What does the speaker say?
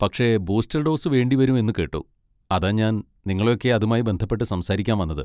പക്ഷേ booster dose വേണ്ടിവരും എന്ന് കേട്ടു, അതാ ഞാൻ നിങ്ങളെ ഒക്കെ അതുമായി ബന്ധപ്പെട്ട് സംസാരിക്കാൻ വന്നത്.